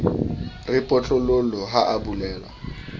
re potlololo ha a bolellwa